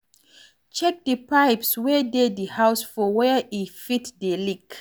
Check di pipes wey dey di house for were e fit dey leak